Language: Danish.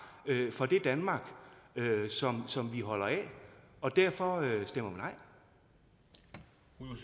for det danmark som vi holder af og derfor stemmer